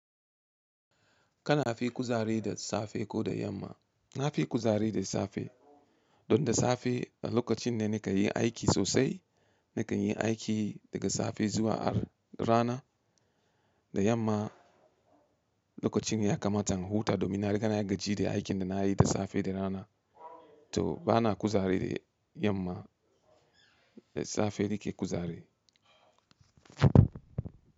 Kana fi kuzari da safe ko da yamma? Na fi kuzari da safe. Don da safe lokacin ne na ke yin aiki sosai. Na kan yi aiki daga safe zuwa har rana. Da yamma lokacin ya kamata in huta domin na riga na yi gaji da aikin da na yi da safe da rana. To ba na kuzari yamma. Da safe nike kuzari.